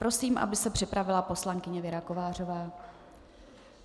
Prosím, aby se připravila poslankyně Věra Kovářová.